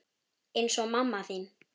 Eins og mamma þín.